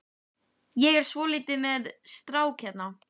Ég er svolítið með strák hérna.